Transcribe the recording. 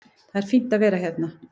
Það er fínt að vera hérna.